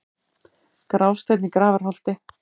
Grásteinn í Grafarholti